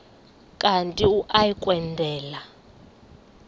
kanti uia kwendela